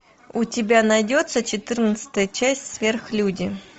у тебя найдется четырнадцатая часть сверхлюди